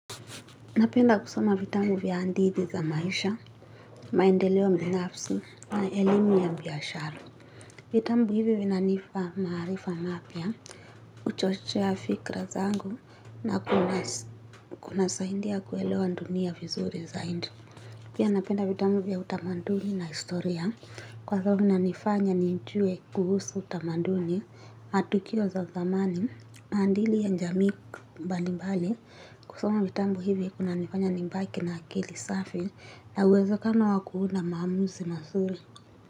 Napenda kusoma vitabu vya hadithi za maisha, maendeleo mbinafsi na elimu ya biashara. Vitabu hivi vinanipa maarifa mapya, huchochea fikra zangu na kunasaidia kuelewa dunia vizuri zaidi. Pia napenda vitabu vya utamaduni na historia, kwa sababu vinanifanya nijue kuhusu utamaduni, matukio za zamani maadili ya jamii mbali mbali, kusoma vitabu hivi kunanifanya nibaki na akili safi. Na uwezekano wa kuwa na maamuzi mazuri.